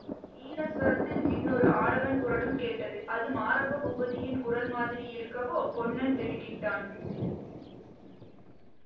ஈனஸ்வரத்தில் இன்னொரு ஆடவன் குரலும் கேட்டது அது மாரப்ப பூபதியின் குரல் மாதிரி இருக்கவோ பொன்னன் திடுக்கிட்டான்